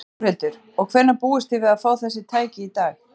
Þórhildur: Og hvenær búist þið við að fá þessi tæki í lag?